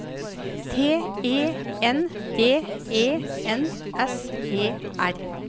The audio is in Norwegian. T E N D E N S E R